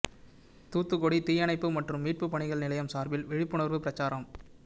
தூத்துக்குடி தீயணைப்பு மற்றும் மீட்புப் பணிகள் நிலையம் சாா்பில் விழிப்புணா்வுப் பிரசாரம்